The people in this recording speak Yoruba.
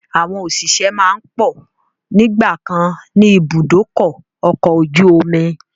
Àwọn òṣìṣẹ́ máa ń pọ̀ nígbàkan ni ibùdókọ̀ ọkọ̀ ojú omi